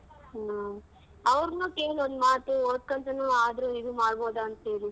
ಹ್ಮ ಅವ್ರ್ನು ಕೇಳ್ ಒಂದ್ ಮಾತು ಓದ್ಕಂತಾನು ಆದ್ರೂ ಇದು ಮಾಡ್ಬೋದ ಅಂತ್ ಹೇಳಿ.